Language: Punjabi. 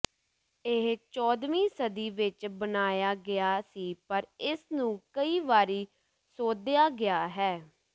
ਇਹ ਚੌਦ੍ਹਵੀਂ ਸਦੀ ਵਿੱਚ ਬਣਾਇਆ ਗਿਆ ਸੀ ਪਰ ਇਸਨੂੰ ਕਈ ਵਾਰੀ ਸੋਧਿਆ ਗਿਆ ਹੈ